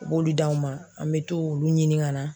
U b'olu d'anw ma an bɛ to olu ɲini ka na.